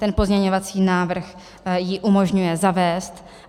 Ten pozměňovací návrh ji umožňuje zavést.